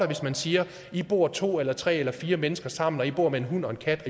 hvis man siger i bor to eller tre eller fire mennesker sammen med en hund og en kat og